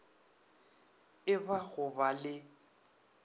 e ba go ba le